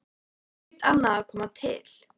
Þar hlaut annað að koma til.